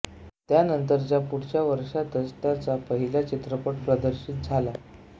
त्यानंतरच्या पुढच्या वर्षातच त्याचा पहिला चित्रपट प्रदर्शित झाला